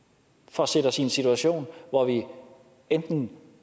for at sætte os i en situation hvor vi enten